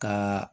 Ka